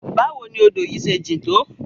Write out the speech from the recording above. Bawo ni odo yi se jin to?